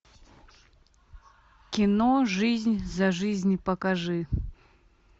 кино жизнь за жизнь покажи